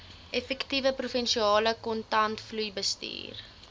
effektiewe provinsiale kontantvloeibestuur